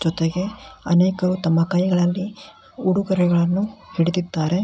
ಜೊತೆಗೆ ಅನೇಕರು ತಮ್ಮ ಕೈಗಳಲ್ಲಿ ಉಡುಗೊರೆಗಳನ್ನು ಹಿಡಿದಿದ್ದಾರೆ.